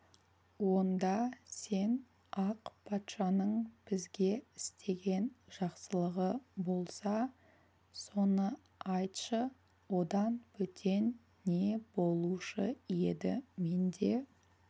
онда сен ақ патшаның бізге істеген жақсылығы болса соны айтшы одан бөтен не болушы еді менде